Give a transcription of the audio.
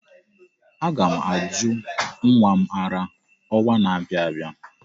Aga ' m ajụ nwa m ara ọnwa na-abịa abịa.